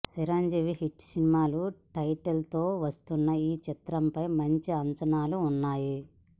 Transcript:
Chiranjeevi hit cinema title తో వస్తున్న ఈ చిత్రం ఫై మంచి అంచనాలు వున్నాయి